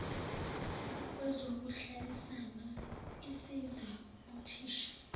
kwezokuhlalisana isiza uthisha